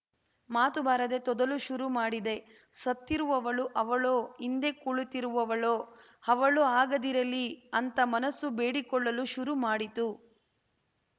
ಮಾತು ಬರದೆ ತೊದಲು ಶುರು ಮಾಡಿದೆ ಸತ್ತಿರುವವಳು ಅವಳೋ ಹಿಂದೆ ಕುಳಿತಿರುವವಳೋ ಅವಳು ಆಗಿರದಿರಲಿ ಅಂತ ಮನಸ್ಸು ಬೇಡಿಕೊಳ್ಳಲು ಶುರು ಮಾಡಿತು